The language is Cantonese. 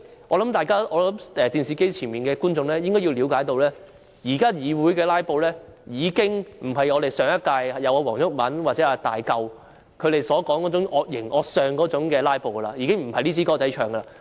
我想電視機前的觀眾應該要了解，現時議會的"拉布"已不再是上屆立法會黃毓民或"大嚿"那種惡形惡相的"拉布"，已經不是那回事。